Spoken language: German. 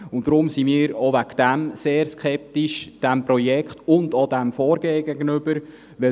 Auch deshalb sind wir diesem Projekt und auch dem Vorgehen gegenüber sehr skeptisch eingestellt.